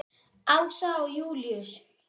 Ása og Júlíus.